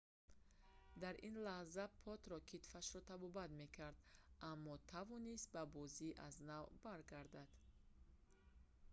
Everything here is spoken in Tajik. дар ин лаҳза потро китфашро табобат мекард аммо тавонист ба бозӣ аз нав баргардад